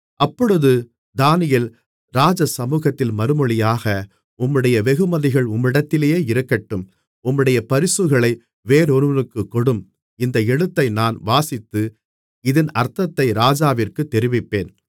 அப்பொழுது தானியேல் ராஜசமுகத்தில் மறுமொழியாக உம்முடைய வெகுமதிகள் உம்மிடத்திலேயே இருக்கட்டும் உம்முடைய பரிசுகளை வேறொருவனுக்குக் கொடும் இந்த எழுத்தை நான் வாசித்து இதின் அர்த்தத்தை ராஜாவிற்குத் தெரிவிப்பேன்